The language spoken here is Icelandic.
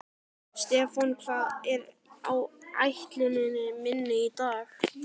Stefán, hvað er á áætluninni minni í dag?